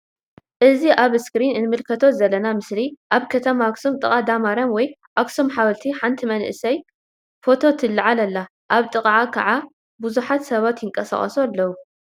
እዚ ኣብ እስክሪን ንምልከቶ ዘለና ምስሊ ኣብ ከተማ ኣክሱም ጥቃ ዳ ማርያም ወይ ኣክሱም ሓወልቲ ሓንቲ መንእሰይ ፎቶ ትልዓል ኣላ ኣብ ጥቃ ክዓ ብዙሓት ሰባት ይንቀሳቀሱ ኣለዉ።